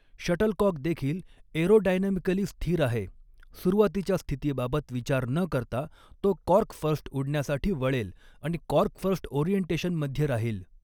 Shuttlecock देखील aerodynamically स्थिर आहे, सुरुवातीच्या स्थितीबाबत विचार न करता, तो कॉर्क फर्स्ट उडण्यासाठी वळेल आणि कॉर्क फर्स्ट ओरिएंटेशनमध्ये राहील.